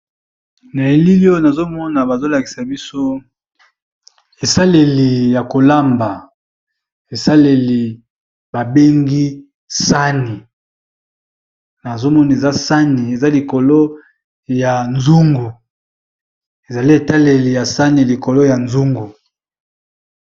Na elili oyo nazo mona bazo lakisa biso esaleli ya kolamba esaleli ba bengi sani, nazo mona eza sani eza likolo ya nzungu ezali etaleli ya sani likolo ya nzungu.